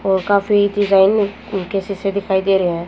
और काफी डिजाइन के शीशे दिखाई दे रहे हैं।